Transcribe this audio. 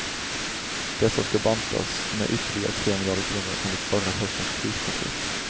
Dessa ska bantas med ytterligare tre miljarder kronor enligt förra höstens krispaket.